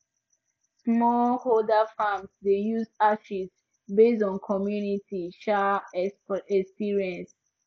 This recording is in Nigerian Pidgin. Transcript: smallholder farms dey use ashes based on community um experience